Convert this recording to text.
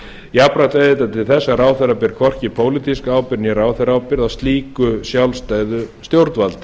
jafnframt yrði þetta til þess að ráðherra ber hvorki pólitíska ábyrgð né ráðherraábyrgð á slíku sjálfstæðu stjórnvaldi